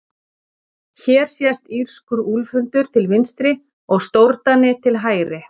hér sést írskur úlfhundur til vinstri og stórdani til hægri